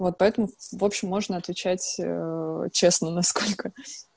вот поэтому в общем можно отвечать честно насколько